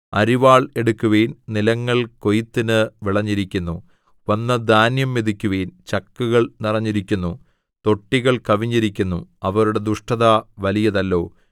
അരിവാൾ എടുക്കുവിൻ നിലങ്ങൾ കൊയ്ത്തിന് വിളഞ്ഞിരിക്കുന്നു വന്ന് ധാന്യം മെതിക്കുവിൻ ചക്കുകൾ നിറഞ്ഞിരിക്കുന്നു തൊട്ടികൾ കവിഞ്ഞിരിക്കുന്നു അവരുടെ ദുഷ്ടത വലിയതല്ലോ